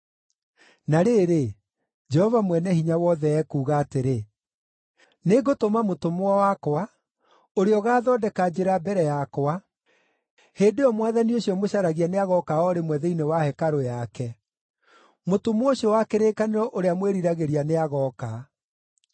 Na rĩrĩ, Jehova Mwene-Hinya-Wothe ekuuga atĩrĩ, “Nĩngũtũma mũtũmwo wakwa, ũrĩa ũgaathondeka njĩra mbere yakwa. Hĩndĩ ĩyo Mwathani ũcio mũcaragia nĩagooka o rĩmwe thĩinĩ wa hekarũ yake; mũtũmwo ũcio wa kĩrĩkanĩro ũrĩa mwĩriragĩria nĩagooka.”